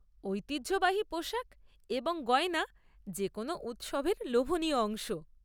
ঐতিহ্যবাহী পোশাক এবং গয়না যে কোনো উৎসবের লোভনীয় অংশ।